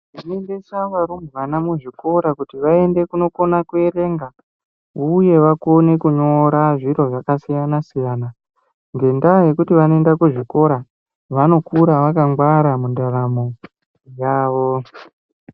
Tinoendesa varumbwana mu zvikora kuti vaende kuno kona ku werenga uye vakone kunyora zviro zvaka siyana siyana ngenda yekuti vanoende ku zvikora vanokura vakangwara mu ndaramo yavo.